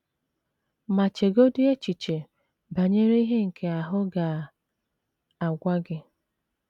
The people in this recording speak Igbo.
Ma chegodị echiche banyere ihe nke ahụ ga - agwa ha.